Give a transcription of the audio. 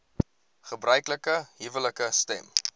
gebruiklike huwelike stem